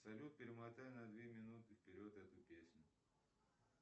салют перемотай на две минуты вперед эту песню